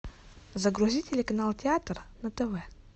загрузи телеканал театр на тв